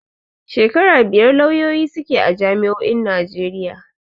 Shekara biyar lauyoyi suke a jami'o'in Najeriya.